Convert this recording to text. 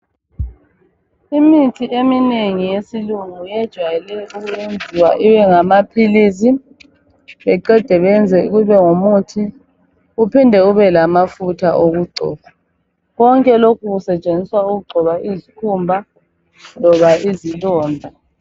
Imithi eminengi eyesilungu ijayele ukwenziwa ibengamaphilisi beqede beyenze ibengumuthi kuphinde kubelamafutha okugcoba konke lokhu kusetshenziswa okugcoba izikhumba loba izilonda.